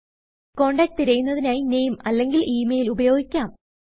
contact തിരയുന്നതിനായി നാമെ അല്ലെങ്കിൽ ഇമെയിൽ ഉപയോഗിക്കാം